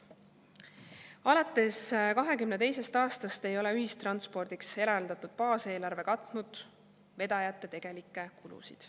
Alates 2022. aastast ei ole ühistranspordiks eraldatud baaseelarve katnud vedajate tegelikke kulusid.